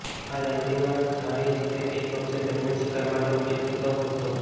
આ જાતિના જાળી સાથે કેચ પક્ષીઓ દરમિયાન શિકાર માટે ઉપયોગ થતો હતો